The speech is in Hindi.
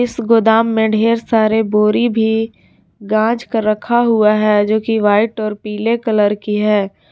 इस गोदाम में ढेर सारे बोरी भी गाज कर रखा हुआ है जो कि व्हाइट और पीले कलर की है।